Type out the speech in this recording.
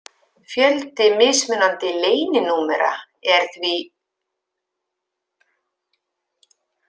Fjöldi mismunandi leyninúmera er því: